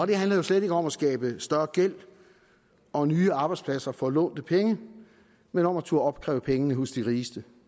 det handler jo slet ikke om at skabe større gæld og nye arbejdspladser for lånte penge men om at turde opkræve pengene hos de rigeste